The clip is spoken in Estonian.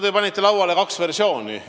Te panite lauale kaks versiooni.